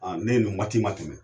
Ne ye nin waati ma